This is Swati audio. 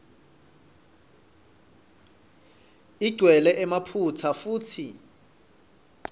igcwele emaphutsa futsi